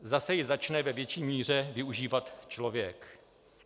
Zase ji začne ve větší míře využívat člověk.